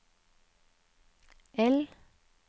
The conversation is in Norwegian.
I